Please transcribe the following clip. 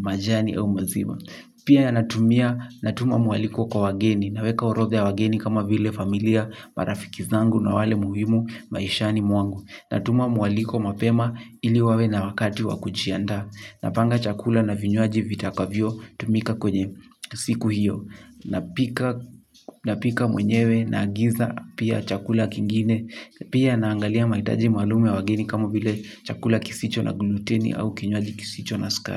majani au maziba. Pia natumia natuma mwaliko kwa wageni. Naweka orodha ya wageni kama vile familia, marafiki zangu na wale muhimu, maishani mwangu. Natuma mwaliko mapema ili wawe na wakati wa kujiandaa. Napanga chakula na vinywaji vitakavyotumika kwenye siku hiyo. Napika mwenyewe naagiza pia chakula kingine. Pia naangalia mahitaji maalum ya wageni kama vile chakula kisicho na gluteni au kinywaji kisicho na sukari.